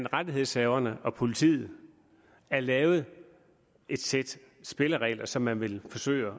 rettighedshaverne og politiet er lavet et sæt spilleregler som man vil forsøge